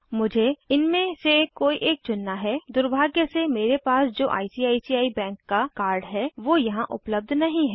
मुझे इनमे से कोई एक चुनना है दुर्भाग्य से मेरे पास जो आईसीआईसीआई बैंक का कार्ड है वो यहाँ उपलब्ध नहीं है